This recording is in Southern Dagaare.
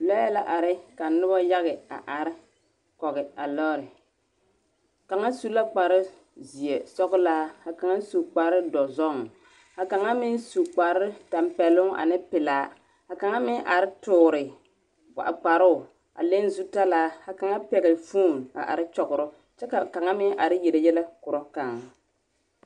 Lɔɛ la are ka nobo yage a are kɔge a lɔɔre kaŋa su la kparrzeɛ sɔglaa ka kaŋa meŋ su kparrdɔzɔŋ ka kaŋa meŋ su kparrtampɛloŋ ane pelaa ka kaŋa meŋ are toori a kparoo a leŋ zutalaa ka kaŋa pɛgle foon are kyɔgrɔ kyɛ ka kaŋ meŋ are yele yɛlɛ korɔ kaŋ.